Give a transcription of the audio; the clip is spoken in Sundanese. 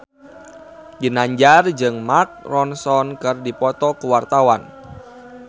Ginanjar jeung Mark Ronson keur dipoto ku wartawan